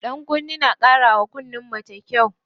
Ɗankunne na ƙara wa kunnen mace kyau.